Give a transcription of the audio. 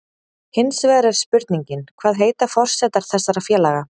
Hinsvegar er spurningin, hvað heitar forsetar þessara félaga?